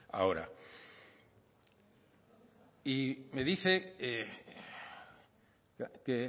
ahora y me dice que